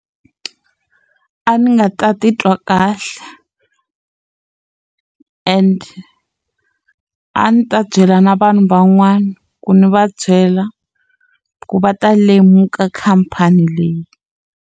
A ndzi nga ta titwa kahle and a ndzi ta byela na vanhu van'wana ku ni va byela ku va ta lemuka khampani leyi.